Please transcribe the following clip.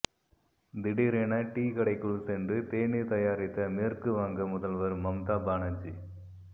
திடீரென டீ கடைக்குள் சென்று தேநீர் தயாரித்த மேற்குவங்க முதல்வர் மம்தா பானர்ஜி